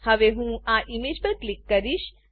હવે હું આ ઈમેજ પર ક્લિક કરીશ